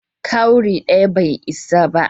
Cowry daya bai isa ba.